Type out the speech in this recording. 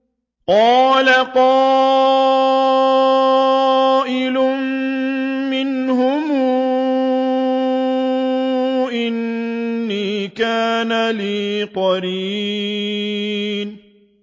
قَالَ قَائِلٌ مِّنْهُمْ إِنِّي كَانَ لِي قَرِينٌ